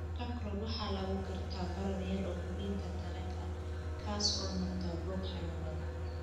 Chancroid waxaa lagu gartaa barar yar oo xubinta taranka ah kaas oo noqda boog xanuun badan.